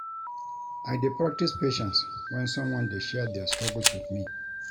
I dey practice patience when someone dey share their struggles with me.